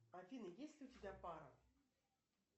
афина есть ли у тебя пара